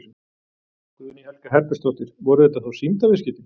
Guðný Helga Herbertsdóttir: Voru þetta þá sýndarviðskipti?